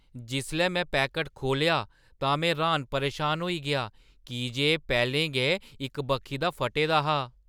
जिसलै में पैकट खोह्‌लेआ तां मैं र्‌हान-परेशान होई गेआ की जे एह् पैह्‌लें गै इक बक्खी दा फट्टे दा हा!